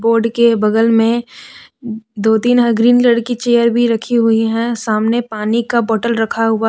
board के बगल में दो तीन ग्रीन कलर चेयर भी रखी हुई है सामने पानी का बोटल रखा हुआ--